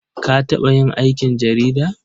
Ka taɓa yin aikin jarida?